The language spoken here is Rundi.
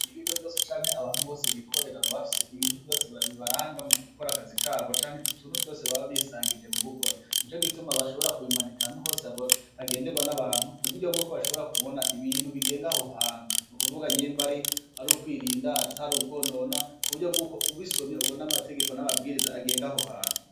Ibigo vyose canke abantu bose bukorera bama bafise ibuntu vyose bibaranga mu gukora akazi kabo, canke mu tuntu twose baba bisangije mu gukora. Nico gituma bashobora kubimanika ahantu hose hagenderwa n'abantu, ku buryo bwuko bashobora kubona ibintu bigenda aho hantu. Ni ukuvuga nyimba ari ukwirinda atari ukwonona, ku buryo bw'uko ubisomye ubona amategeko n'amabwiriza agenga aho hantu.